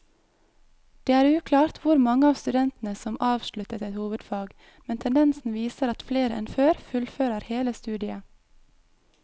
Det er uklart hvor mange av studentene som avsluttet et hovedfag, men tendensen viser at flere enn før fullfører hele studiet.